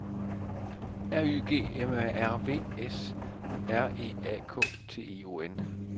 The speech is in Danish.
R Y G M A R V S R E A K T I O N